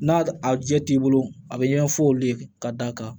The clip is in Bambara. N'a a jɛ t'i bolo a bɛ ɲɛgɛn fɔ olu ye ka d'a kan